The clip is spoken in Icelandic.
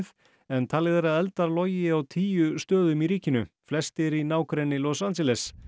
en talið er að eldar logi á tíu stöðum í ríkinu flestir í nágrenni Los Angeles